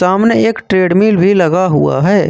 सामने एक ट्रेडमिल भी लगा हुआ है।